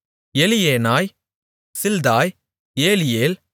Elioenai Zillethai Eliel